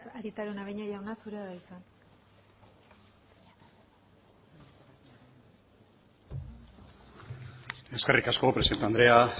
araunabeña jauna zurea da hitza eskerrik asko presidente andrea